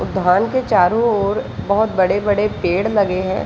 उद्यान के चारो और बहुत बड़े बड़े पेड़ लगे है।